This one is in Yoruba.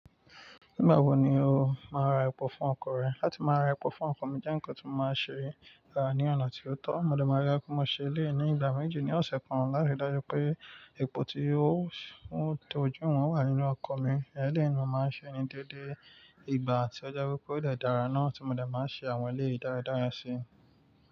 Nígbà wo ni o máa ra epo fún ọkọ̀ rẹ? Láti máa ra epo fún ọkọ̀ mi, jẹ́ nǹkan tí mo máa ṣe rà ní ọ̀nà tí ó tọ́. Mọ dé máa rí pé mo ṣe eléyi ní ìgbà méjì ní ọ̀sẹ̀ kan láti ri dájú pé epo tí ó tọ́júwòn wà nínú ọkọ̀ mi. Ẹ̀leyii ní mo máa ń ṣe ní déédée. Ìgbà tí ó je wipé ó de dára náà tí mo dè máa ṣe àwọn eléyii dáradára sí.